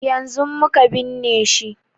Yanzun muka binne shi